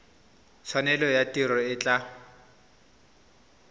tshwanelo ya tiro e tla